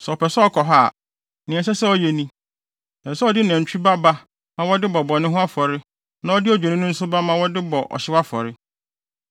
“Sɛ ɔpɛ sɛ ɔkɔ hɔ a, nea ɛsɛ sɛ ɔyɛ ni: Ɛsɛ sɛ ɔde nantwinini ba ba ma wɔde bɔ bɔne ho afɔre na ɔde odwennini nso ba ma wɔde bɔ ɔhyew afɔre.